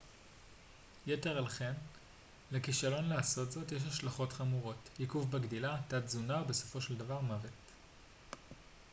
יתר על כן לכישלון לעשות זאת יש השלכות חמורות עיכוב בגדילה תת-תזונה ובסופו של דבר מוות